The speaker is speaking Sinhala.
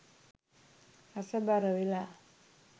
රසබර වෙලා